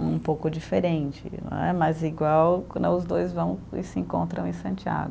um pouco diferente né, mas igual quando os dois vão e se encontram em Santiago.